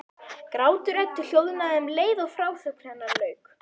Grátur Eddu hljóðnaði um leið og frásögn hennar lauk.